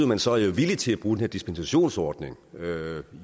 man så er villig til den her dispensationsordning